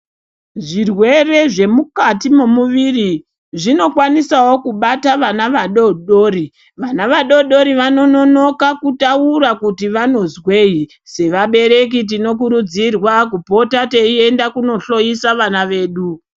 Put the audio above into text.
Zvirwere zvemukati memuviri zvinokwanisawo kubata vana vadodori , vana vadodori vanonoka kutaura kuti vanozwei sevabereki tinokurudzirwa kupota teienda kunohloisa vana vedu